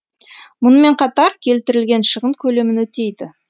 мұнымен қатар келтірілген шығын көлемін өтейді